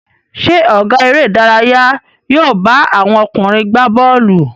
Ṣé ọ̀gá eré-idárayá yóò bá àwọn ọkùnrin gbá bọ́ọ́lù?